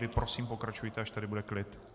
Vy prosím, pokračujte, až tady bude klid.